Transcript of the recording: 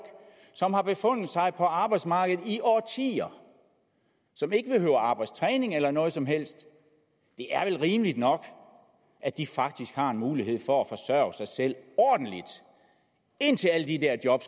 som har befundet sig på arbejdsmarkedet i årtier og som ikke behøver arbejdstræning eller noget som helst det er vel rimeligt nok at de faktisk har en mulighed for at forsørge sig selv ordentligt indtil alle de der job